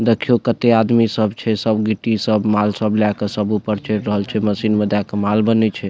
देखीवो केते आदमी सब छे सब गिटी सब माल सब लय के सब ऊपर चेढ़ रहल छे मशीन में दे क माल बनय छे।